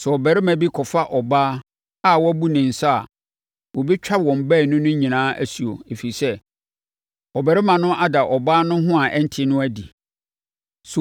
“ ‘Sɛ ɔbarima bi kɔfa ɔbaa a wabu ne nsa a, wɔbɛtwa wɔn baanu no nyinaa asuo, ɛfiri sɛ, ɔbarima no ada ɔbaa no ho a ɛnte no adi.